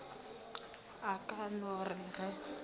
a ka no re ge